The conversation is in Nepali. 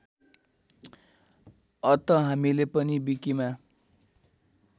अत हामीले पनि विकिमा